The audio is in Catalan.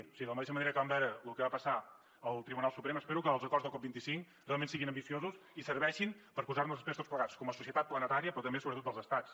o sigui de la mateixa manera que vam veure lo que va passar al tribunal suprem espero que els acords de la cop25 realment siguin ambiciosos i serveixin per a posar nos després tots plegats com a societat planetària però també sobretot dels estats